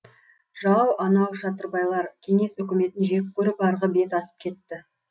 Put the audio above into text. жау анау шатырбайлар кеңес өкіметін жек көріп арғы бет асып кетті